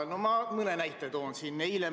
Ma mõne näite siin ka toon.